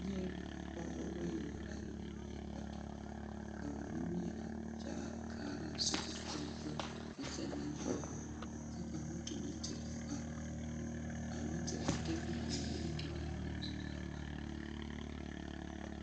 Nyԑԑ pͻgebͻ bayi naŋ are ne bibiiri bata ka ba nimie a kyaare a kaaraa sobiri kyolikyoli a kyԑlԑ lͻͻre kyԑ ka moto meŋ te pa a meŋ te de boma mine a eŋ o nimitͻͻre a zoro a waana.